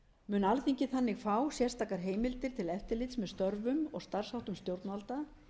mun alþingi þannig fá sérstakar heimildir til eftirlits með störfum og starfsháttum stjórnvalda